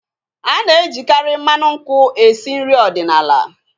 Ana ejikari mmanụ nkwụ esi nri ọdịnala